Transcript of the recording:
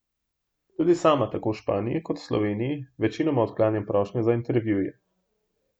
Tudi sama tako v Španiji kot v Sloveniji večinoma odklanjam prošnje za intervjuje.